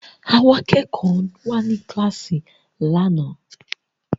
Àwọn akẹ́kọ̀ọ́ wà ní kíláàsì lánàá